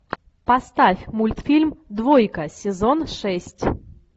поставь мультфильм двойка сезон шесть